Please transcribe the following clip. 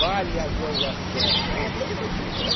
a gozação, viu, meus queridos?